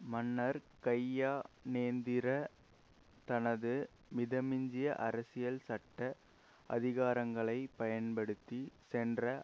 மன்னர் கையநேந்திரா தனது மிதமிஞ்சிய அரசியல் சட்ட அதிகாரங்களை பயன்படுத்தி சென்ற